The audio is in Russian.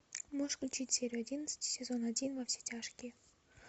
можешь включить серию одиннадцать сезон один во все тяжкие